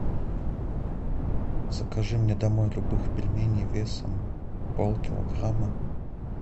закажи мне домой любых пельменей весом пол килограмма